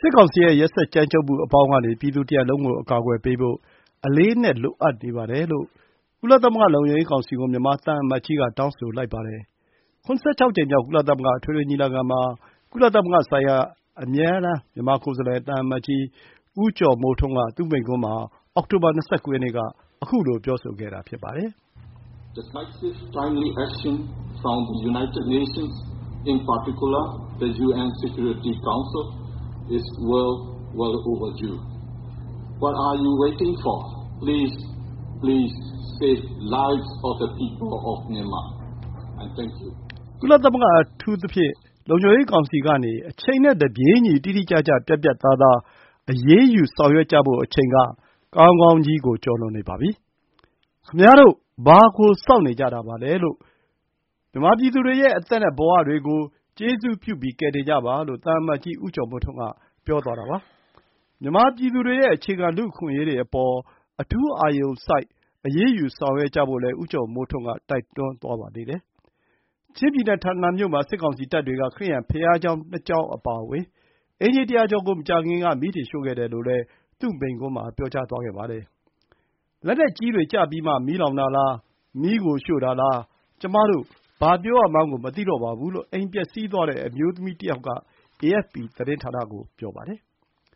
စစ်ကောင်စီရဲ့ ရက်စက်ကြမ်းကြုတ်မှု အပေါင်းကနေ ပြည်သူတရပ်လုံးကို အကာအကွယ်ပေးဖို့ အလေးအနက် လိုအပ်နေပါတယ်လို့ ကုလသမဂ္ဂ လုံခြုံရေးကောင်စီကို မြန်မာသံအမတ်ကြီးက တောင်းဆိုလိုက်ပါတယ်။ ၇၆ ကြိမ်မြောက် ကုလသမဂ္ဂ အထွေထွေညီလာခံမှာ ကုလသမဂ္ဂဆိုင်ရာ မြန်မာအမြဲတမ်းကိုယ်စားလှယ် သံအမတ်ကြီး ဦးကျော်မိုးထွန်းက သူ့မိန့်ခွန်းမှာ အောက်တိုဘာ ၂၉ ရက်နေ့က ခုလို ပြောဆိုခဲ့တာ ဖြစ်ပါတယ်။ “ကုလသမဂ္ဂ အထူးသဖြင့် လုံခြုံရေးကောင်စီကနေ အချိန်နဲ့တပြေးညီ တိတိကျကျ ပြတ်ပြတ်သားသား အရေးယူ ဆောင်ရွက်ကြဖို့ အချိန်က ကောင်းကောင်းကြီးကို ကျော်လွန်နေပါပြီ။ ခင်ဗျားတို့ ဘာကို စောင့်နေကြတာပါလဲ။ မြန်မာပြည်သူတွေရဲ့ အသက်နဲ့ ဘဝတွေကို ကျေးဇူးပြုပြီး ကယ်တင်ကြပါ။” လို့ သံအမတ်ကြီး ဦးကျော်မိုးထွန်းက ပြောသွားတာပါ။ မြန်မာပြည်သူတွေရဲ့ အခြေခံ လူ့အခွင့်အရေးတွေ အပေါ် အထူးအာရုံစိုက် အရေးယူ ဆောင်ရွက်ကြဖို့လည်း ဦးကျော်မိုးထွန်းက တိုက်တွန်းသွားပါသေးတယ်။ ချင်းပြည်နယ်၊ ထန်တလန်မြို့မှာ စစ်ကောင်စီတပ်တွေက ခရစ်ယာန်ဘုရားကျောင်း ၂ ကျောင်း အပါအဝင် အိမ်ခြေ ၁၀၀ ကျော်ကို မကြာခင်က မီးတင်ရှို့ခဲ့တယ်လို့လည်း သူ့မိန့်ခွန်းမှာ ပြောကြားသွားခဲ့ပါတယ်။ “လက်နက်ကြီးတွေ ကျပြီးမှ မီးလောင်တာလား၊ မီးကို ရှို့တာလား၊ ကျွမတို့ ဘာပြောရမှန်းကို မသိတော့ပါဘူး” လို့ အိမ်ပျက်စီးသွားတဲ့ အမျိုးသမီးတယောက်က အေအက်ဖ်ပီ သတင်းဌာနကို ပြောပါတယ်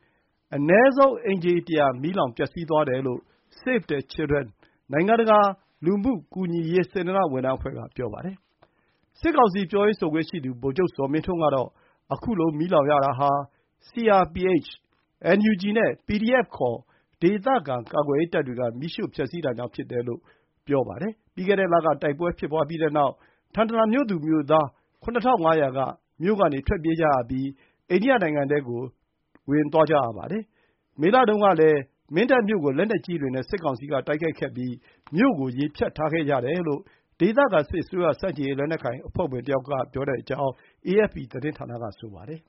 ။ အနည်းဆုံး အိမ်ခြေ ၁၀၀ မီးလောင် ပျက်စီးသွားတယ်လို့ Save The Children နိုင်ငံတကာ လူမှုကူညီရေး စေတနာ့ဝန်ထမ်းအဖွဲ့က ပြောပါတယ်။ စစ်ကောင်စီ ပြောရေးဆိုခွင့်ရှိသူ ဗိုလ်ချုပ်ဇော်မင်းထွန်းကတော့ ခုလို မီးလောင်ရတာဟာ CRPH, NUG နဲ့ PDF ခေါ် ဒေသခံ ကာကွယ်ရေးတပ်တွေက မီးရှို့ဖျက်ဆီးတာကြောင့် ဖြစ်တယ်လို့ ပြောပါတယ်။ ပြီးခဲ့တဲ့လက တိုက်ပွဲဖြစ်ပွါးပြီးနောက် ထန်တလန် မြို့သူမြို့သား ၇,၅၀၀ မြို့ကနေ ထွက်ပြေးကြရပြီး အိန္ဒိယနိုင်ငံထဲကို ထွက်ပြေးသွားကြရတာပါ။ မေလတုန်းကလည်း မင်းတပ်မြို့ကို လက်နက်ကြီးတွေနဲ့ စစ်ကောင်စီက တိုက်ခိုက်ခဲ့ပြီး မြို့ကို ရေဖြတ်ထားခဲ့ကြတယ်လို့ ဒေသခံ စစ်အစိုးရဆန့်ကျင်ရေး လက်နက်ကိုင်အဖွဲ့ဝင် တယောက်က ပြောကြောင်း အေအက်ဖ်ပီသတင်းက ဆိုပါတယ်